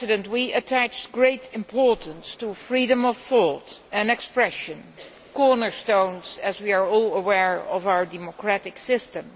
We attach great importance to freedom of thought and expression cornerstones, as we are all aware, of our democratic system.